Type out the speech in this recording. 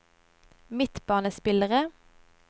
midtbanespillere